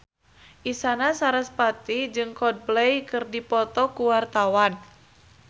Isyana Sarasvati jeung Coldplay keur dipoto ku wartawan